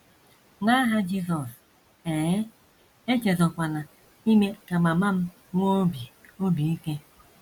N’aha Jizọs... ehee, echezọkwala ime ka mama m nwee obi obi ike.